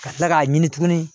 Ka kila k'a ɲini tugun